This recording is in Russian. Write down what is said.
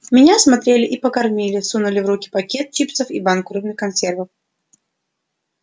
меня осмотрели и покормили сунули в руки пакет чипсов и банку рыбных консервов